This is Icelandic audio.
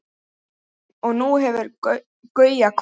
Og nú hefur Gauja kvatt.